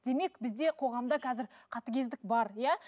демек бізде қоғамда қазір қатыгездік бар иә